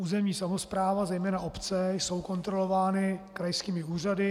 Územní samospráva, zejména obce, jsou kontrolovány krajskými úřady.